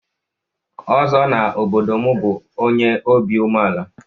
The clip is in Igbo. Ozo n'obodo m bu onye obi umeala.